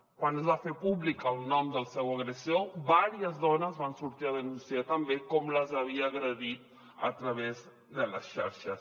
quan es va fer públic el nom del seu agressor diverses dones van sortir a denunciar també com les havia agredit a través de les xarxes